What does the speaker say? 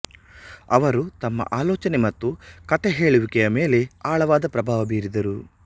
ಅವರು ತಮ್ಮ ಆಲೋಚನೆ ಮತ್ತು ಕಥೆಹೇಳುವಿಕೆಯ ಮೇಲೆ ಆಳವಾದ ಪ್ರಭಾವ ಬೀರಿದರು